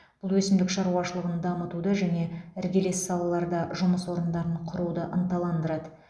бұл өсімдік шаруашылығын дамытуды және іргелес салаларда жұмыс орындарын құруды ынталандырады